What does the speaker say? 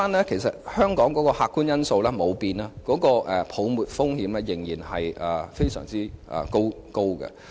其實，香港的客觀因素沒有改變，泡沫風險仍然很高。